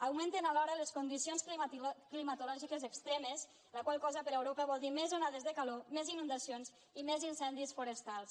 augmenten alhora les condicions climatològiques extremes la qual cosa per a europa vol dir més onades de calor més inundacions i més incendis forestals